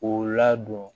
K'o ladon